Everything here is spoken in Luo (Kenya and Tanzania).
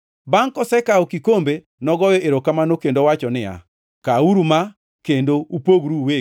Bangʼ kosekawo kikombe, nogoyo erokamano kendo wacho niya, “Kawuru ma kendo upogru uwegi.